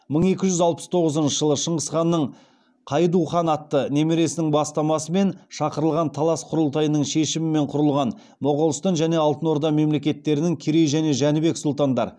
мың екі жүз алпыс тоғызыншы жылы шыңғыс ханның қайду хан атты немересінің бастамасымен шақырылған талас құрылтайының шешімімен құрылған моғолстан және алтын орда мемлекетерінің керей және жәнібек сұлтандар